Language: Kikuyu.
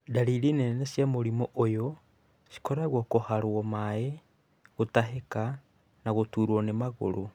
Ndariri nene cia mũrimũ ũyũ cikoragwo kũharo maĩ, gũtahika na gũturo nĩ magũrũ.